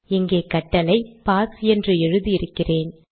இங்கே கட்டளை பாஸ் என்று எழுதி இருக்கிறேன்